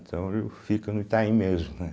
Então eu fico no Itaim mesmo, né?